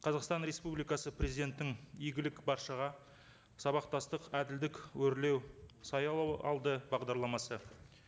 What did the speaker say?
қазақстан республикасы президенттің игілік баршаға сабақтастық әділдік өрлеу саялау алды бағдарламасы